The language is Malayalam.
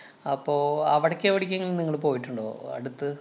അപ്പൊ അവിടേക്ക് എവിടേക്കെങ്കിലും നിങ്ങള് പോയിട്ടുണ്ടോ അടുത്ത്?